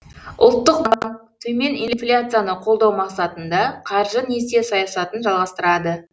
ұлттық банк төмен инфляцияны қолдау мақсатында қаржы несие саясатын жалғастырады